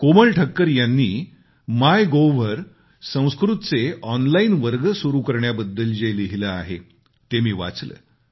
कोमल ठक्कर यांनी मायगोव्हवर संस्कृतचे ऑनलाईन वर्ग सुरु करण्याबद्दल जे लिहिलं आहे ते मी वाचलं